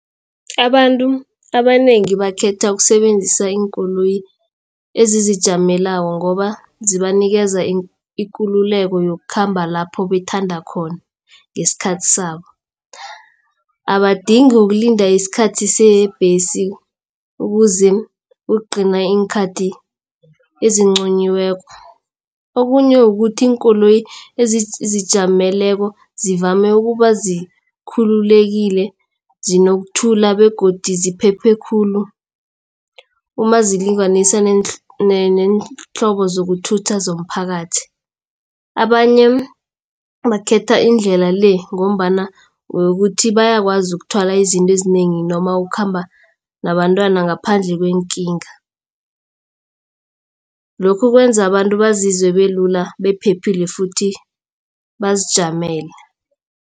Abantu abanengi bakhetha ukusebenzisa iinkoloyi ezizijameleko ngoba zibanikeza ikululeko yokukhamba lapho bethanda khona ngesikhathi sabo. Abadingi ukulinda isikhathi sebhesi ukuze kugcine iinkhathi eziqunyiweko. Okunye kukuthi iinkoloyi ezizijameleko zivame ukuba zikhululekile zinokuthula begodu ziphephe khulu. Uma zilinganiswa neenhlobo zokuthutha zomphakathi. Abanye bakhetha indlela le ngombana bayakwazi ukuthwala abantwana ngaphandle kweenkinga. Lokhu kwenza abantu bazizwe belula baphephile futhi bazijamela.